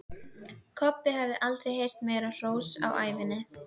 Kobbi hafði aldrei heyrt meira hrós um ævina.